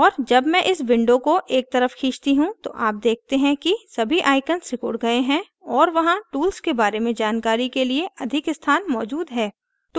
और जब मैं इस window को एक तरफ खींचती हूँ तो आप देखते हैं कि सभी आइकॉन सिकुड़ गए हैं और वहां tools के बारे में जानकारी के लिए अधिक स्थान मौजूद है